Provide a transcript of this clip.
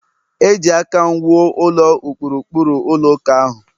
Eji aka m wuo ụlọ ụkpụrụ ụkpụrụ ụlọ ụka ahụ